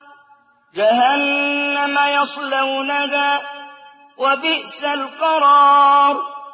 جَهَنَّمَ يَصْلَوْنَهَا ۖ وَبِئْسَ الْقَرَارُ